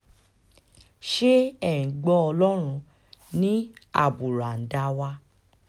ṣé ẹ̀ ń gbọ́ ọlọ́run ní àbùràǹdà wa